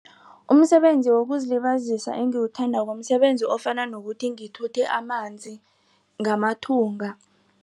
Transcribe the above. Umsebenzi wokuzilibazisa engiwuthandako msebenzi ofana nokuthi ngithuthe amanzi ngamathunga.